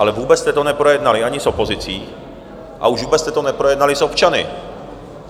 Ale vůbec jste to neprojednali ani s opozicí a už vůbec jste to neprojednali s občany.